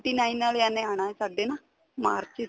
nine ਵਾਲਿਆ ਨੇ ਆਣਾ ਸਾਡੇ ਨਾ ਮਾਰਚ ਵਿੱਚ